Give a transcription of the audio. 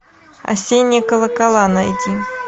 осенние колокола найди